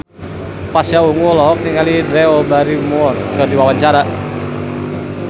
Pasha Ungu olohok ningali Drew Barrymore keur diwawancara